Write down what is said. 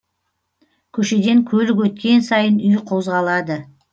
көшеден көлік өткен сайын үй қозғалады